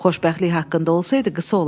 Xoşbəxtlik haqqında olsaydı qısa olardı.